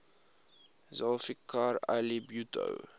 zulfikar ali bhutto